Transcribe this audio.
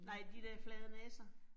Nej, de der flade næser